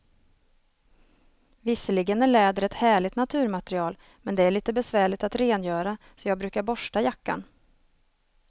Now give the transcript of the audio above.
Visserligen är läder ett härligt naturmaterial, men det är lite besvärligt att rengöra, så jag brukar borsta jackan.